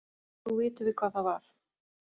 Nú vitum við hvað það var.